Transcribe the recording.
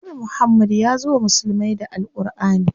Annabi Muhammad yazo wa musulmai da Al Ƙurʼani.